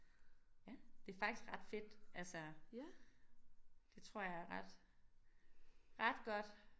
Ja det faktisk ret fedt altså det tror jeg er ret ret godt